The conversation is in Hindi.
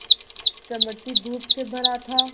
चमकती धूप से भरा था